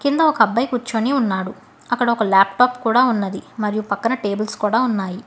కింద ఒక అబ్బాయి కూర్చొని ఉన్నాడు అక్కడొక లాప్టాప్ కూడా ఉన్నది మరియు పక్కన టేబుల్స్ కూడా ఉన్నాయి.